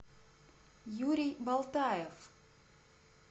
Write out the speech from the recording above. юрий болтаев